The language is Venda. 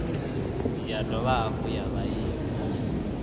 ya dovha hafhu ya vhaisa